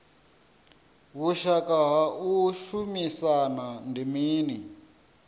vhushaka ha u shumisana ndi mini